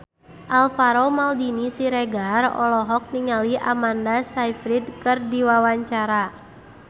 Alvaro Maldini Siregar olohok ningali Amanda Sayfried keur diwawancara